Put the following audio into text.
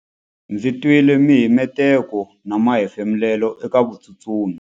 Ndzi twile mihemuteko na mahefumulelo eka vatsutsumi.